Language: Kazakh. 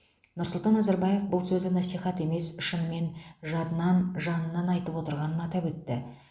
нұрсұлтан назарбаев бұл сөзі насихат емес шынымен жадынан жанынан айтып отырғанын атап өтті